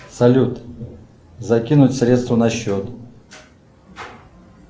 салют закинуть средства на счет